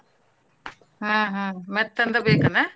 ಹಾ ಹಾ ಮೆತ್ತಂದ ಬೇಕೇನ?